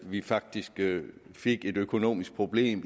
vi faktisk fik et økonomisk problem